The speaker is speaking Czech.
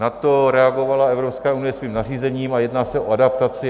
Na to reagovala Evropská unie svým nařízením a jedná se o adaptaci.